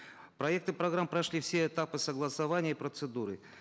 проекты программ прошли все этапы согласования и процедуры